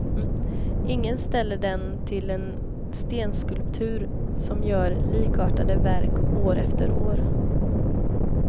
Ingen ställer den till en stenskulptör som gör likartade verk år efter år.